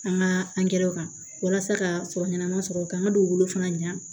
An ka angɛrɛ kan walasa ka fɔ ɲɛnɛma sɔrɔ ka n ka dugu fana ɲa